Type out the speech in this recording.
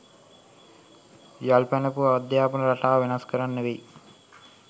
යල් පැනපු අධ්‍යාපන රටාව වෙනස් කරන්න වෙයි.